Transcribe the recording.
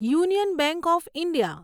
union bank of India